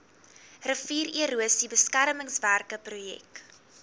riviererosie beskermingswerke projek